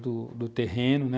do do terreno, né?